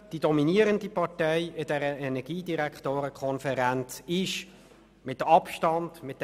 Die dominierende Partei in dieser Organisation ist mit Abstand die FDP;